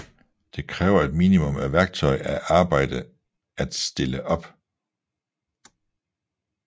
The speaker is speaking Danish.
De kræver et minimum af værktøj og arbejde at stille op